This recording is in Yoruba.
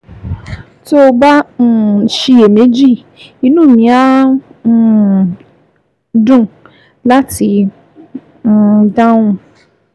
Tó o bá ń um ṣiyèméjì, inú mi á um dùn láti um dáhùn